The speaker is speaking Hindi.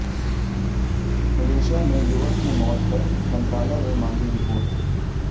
मलेशिया में युवक की मौत पर मंत्रालय ने मांगी रिपोर्ट